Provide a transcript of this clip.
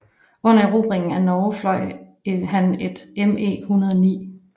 Under erobringen af Norge fløj han et ME109